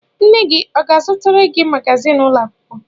Nne gị ọ ga-azụtara gị magazin ụlọ akwụkwọ?